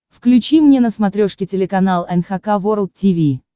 включи мне на смотрешке телеканал эн эйч кей волд ти ви